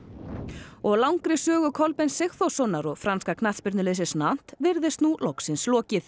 og langri sögu Kolbeins Sigþórssonar og franska knattspyrnuliðsins virðist nú loksins lokið